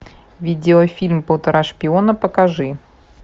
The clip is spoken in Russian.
видеофильм полтора шпиона покажи